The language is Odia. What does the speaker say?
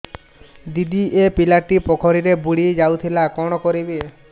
ଦିଦି ଏ ପିଲାଟି ପୋଖରୀରେ ବୁଡ଼ି ଯାଉଥିଲା କଣ କରିବି